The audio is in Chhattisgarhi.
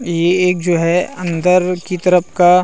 ये एक जो है अंदर की तरफ का--